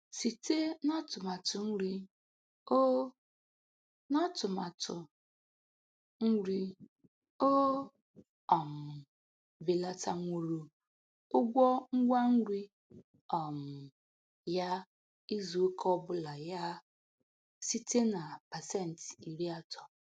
Site n'atumatụ nri, o n'atumatụ nri, o um belatanwuru ụgwọ ngwa nri um ya izu ụka ọbụla ya site na pasenti iri atọ.